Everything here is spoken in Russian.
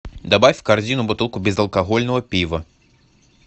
добавь в корзину бутылку безалкогольного пива